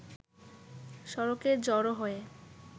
সড়কে জড়ো হয়ে